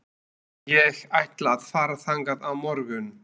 Ég ætla að fara þangað á morgun.